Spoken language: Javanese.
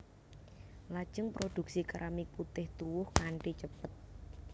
Lajeng produksi keramik putih tuwuh kanthi cepet